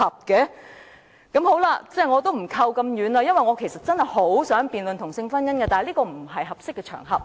我也不說得那麼遠了，我其實真的很想辯論同性婚姻，但這不是合適的場合。